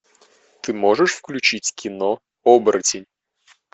ты можешь включить кино оборотень